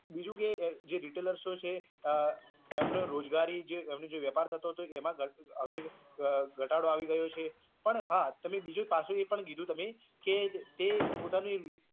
બીજું કે જે retailer છે એમનો રોજગારી એમનો જે વેપાર થતો હતો એમા હવે ઘટાડો આવી ગયો છે પણ હા તમે બીજું પાસું એ પણ કીધું તમે કે તે પોતાની